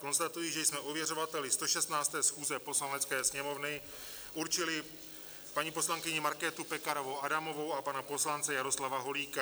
Konstatuji, že jsme ověřovateli 116. schůzi Poslanecké sněmovny určili paní poslankyni Markétu Pekarovou Adamovou a pana poslance Jaroslava Holíka.